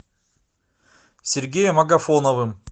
сергеем агафоновым